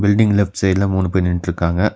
Building left சைடுல மூணு பேர் நின்ட்ருக்காங்க.